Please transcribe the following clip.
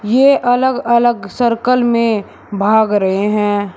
ये अलग अलग सर्कल में भाग रहे हैं।